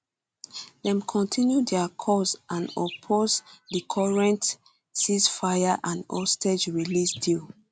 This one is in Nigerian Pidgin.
dem continue dia calls and oppose di current ceasefire and hostage release deal